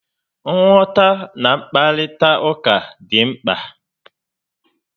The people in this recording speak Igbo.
Nghọtana nkparịta ụka dị mkpa